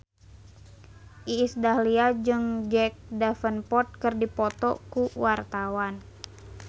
Iis Dahlia jeung Jack Davenport keur dipoto ku wartawan